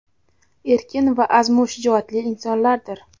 erkin va azmu shijoatli insonlardir.